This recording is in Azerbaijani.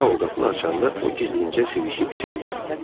Sao qapını açanda o gizlincə sivişib içəri girdi.